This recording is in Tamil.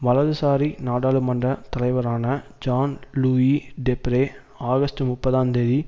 வலதுசாரி நாடாளுமன்ற தலைவரான ஜன் லூயி டெப்ரே ஆகஸ்ட் முப்பதாந்தேதி